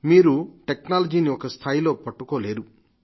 మీరు టెక్నాలజీని ఒక స్థాయిలో పట్టుకోలేరు